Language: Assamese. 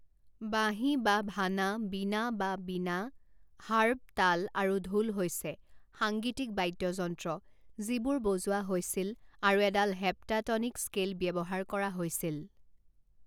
বাঁহী বা ভানা বীণা বা বিনা হাৰ্প তাল আৰু ঢোল হৈছে সাংগীতিক বাদ্যযন্ত্ৰ যিবোৰ বজোৱা হৈছিল আৰু এডাল হেপ্টাটনিক স্কেল ব্যৱহাৰ কৰা হৈছিল।